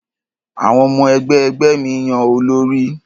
Àwọn ọmọ-ẹgbẹ́ ẹgbẹ́ mi yan olórí.